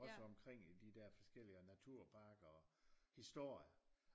Også omkring i de der forskellige naturparker og historier